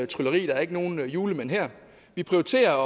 trylleri der er ikke nogen julemand her vi prioriterer